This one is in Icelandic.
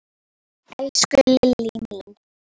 Elsku Lillý!